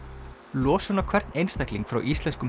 losun á hvern einstakling frá íslenskum